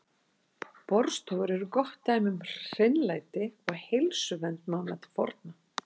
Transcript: Baðstofur eru gott dæmi um hreinlæti og heilsuvernd manna til forna.